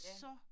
Ja